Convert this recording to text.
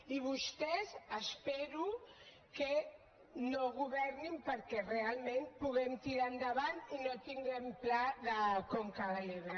i vostès espero que no governin perquè realment puguem tirar endavant i no tinguem pla de conca de l’ebre